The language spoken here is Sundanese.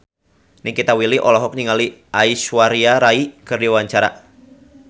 Nikita Willy olohok ningali Aishwarya Rai keur diwawancara